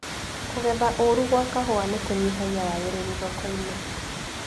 Kũgetha ũru gwa kahũa nĩkunyihagia wagĩrĩru thokoinĩ.